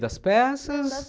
Das peças?